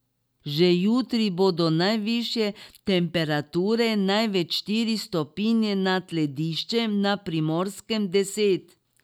Že jutri bodo najvišje temperature največ štiri stopinje nad lediščem, na Primorskem deset.